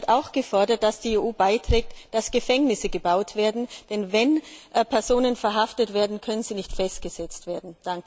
Und sie hat auch gefordert, dass die EU dazu beiträgt, dass Gefängnisse gebaut werden, denn wenn Personen verhaftet werden, können sie nicht festgesetzt werden.